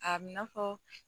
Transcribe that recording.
A bi na fɔ